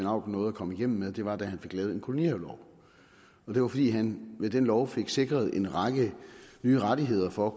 auken nåede at komme igennem med var da han fik lavet en kolonihavelov det var fordi han med den lov fik sikret en række nye rettigheder for